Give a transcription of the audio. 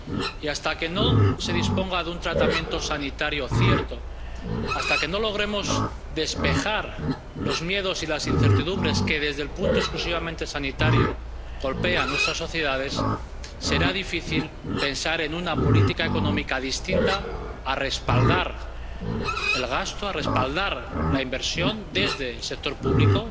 Y hasta que no se disponga de un tratamiento sanitario cierto, hasta que no logremos despejar los miedos y las incertidumbres que desde el punto exclusivamente sanitario golpea nuestras sociedades, será difícil pensar en una política económica que no sea respaldar el gasto, respaldar la inversión desde el sector público.